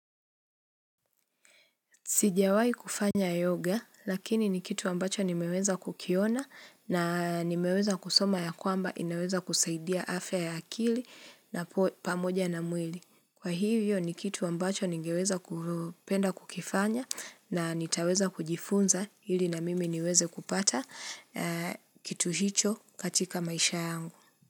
Sijawai kufanya yoga lakini ni kitu ambacho nimeweza kukiona na nimeweza kusoma ya kwamba inaweza kusaidia afya ya akili na pamoja na mwili. Kwa hivyo ni kitu ambacho ningeweza kupenda kukifanya na nitaweza kujifunza ili na mimi niweze kupata kitu hicho katika maisha yangu.